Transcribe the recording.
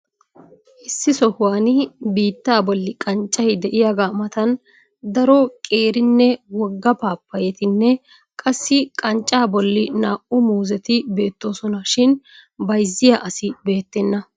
Issi sohuwaani biittaa bolli qanccayi de'iyaagaa matan daro qeerinne wogga paappayyatinne qassi qanccaa bolli naa"u muuzet beettosona. Shin bayizziya asi beettenna.